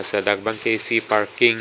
so dak bang ke isi parking .